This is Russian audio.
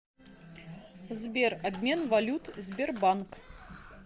сбер обмен валют сбербанк